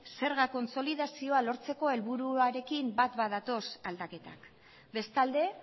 zerga kontsolidazioa lortzeko helburuarekin bat badatoz aldaketak bestalde